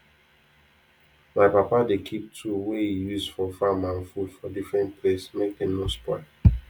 my papa dey keep tool wey he use for farm and food for different place make dem no spoil